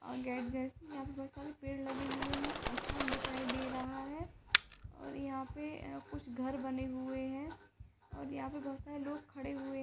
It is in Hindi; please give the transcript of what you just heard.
ओ गेट यहाँ पर बहुत सारे पेड़ लगे हुए हैं आसमान दिखाई दे रहा है और यहाँ पे अ कुछ घर बने हुए है और यहाँ पे बहुत सारे लोग खड़े हुए --